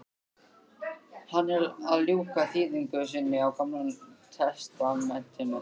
Hann er að ljúka þýðingu sinni á gamla testamentinu.